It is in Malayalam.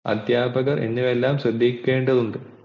അദ്ധ്യാപകർ എന്നിവരെല്ലാം ശ്രദ്ധിക്കേണ്ട ഉണ്ട്